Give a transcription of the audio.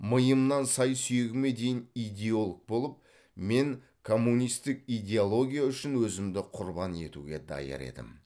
миымнан сай сүйегіме дейін идеолог болып мен коммунистік идеология үшін өзімді құрбан етуге даяр едім